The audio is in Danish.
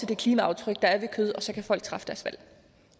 det klimaaftryk der er ved kød og så kan folk træffe deres valg